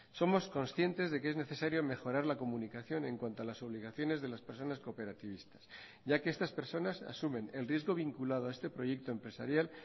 somos conscientes de que es necesario mejorar la comunicación en cuanto a las obligaciones de las personas cooperativistas ya que estas personas asumen el riesgo vinculado a este proyecto empresarial